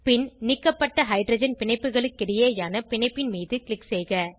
பின் நீக்கப்பட்ட ஹைட்ரஜன் பிணைப்புகளுக்கிடையேயான பிணைப்பின் மீது க்ளிக் செய்க